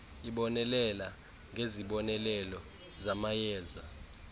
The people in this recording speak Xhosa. ibonelela ngezibonelelo zamayeza